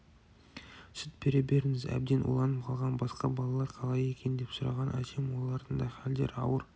сүт бере беріңіз әбден уланып қалған басқа балалар қалай екен деп сұраған әжем олардың да хәлдері ауыр